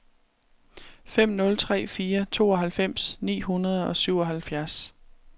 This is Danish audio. fem nul tre fire tooghalvfems ni hundrede og syvoghalvfjerds